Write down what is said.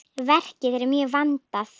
Verkið er mjög vandað.